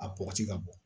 A bɔgɔti ka bɔ